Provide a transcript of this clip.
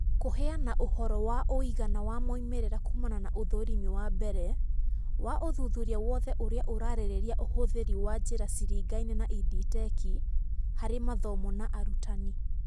Kũheana ũhoro wa ũigana wa moimĩrĩra kumana na ũthũrĩmi wa mbere wa wa ũthuthuria wothe irĩa ciraarĩrĩria ũhũthĩri wa njĩra ciringaine na EdTech harĩ mathomo na arutani.